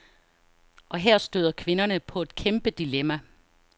Og her støder kvinderne på et kæmpedilemma.